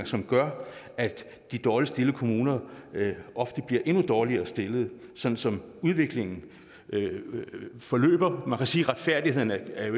som gør at de dårligst stillede kommuner ofte bliver endnu dårligere stillet sådan som udviklingen forløber man kan sige at retfærdigheden ikke er